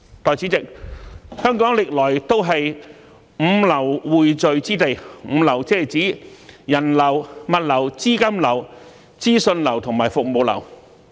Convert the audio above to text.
代理主席，香港歷來都是"五流"匯聚之地，"五流"是指人流、物流、資金流、資訊流和服務流。